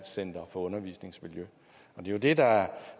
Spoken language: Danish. jo det der er